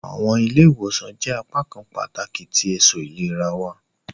Awọn ile-iwosan jẹ apakan pataki ti eto ilera wa.